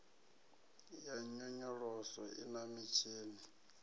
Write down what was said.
ya nyonyoloso i na mitshini